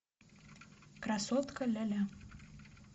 красотка ляля